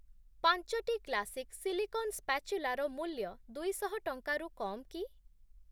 ପାଞ୍ଚଟି classic silicon ସ୍ପାଚୁଲାର ମୂଲ୍ୟ ଦୁଇଶହ ଟଙ୍କାରୁ କମ୍ କି?